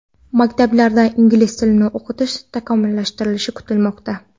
Maktablarda ingliz tilini o‘qitish takomillashtirilishi kutilmoqda.